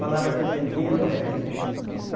Falava naquele tempo quinhentos réis, né?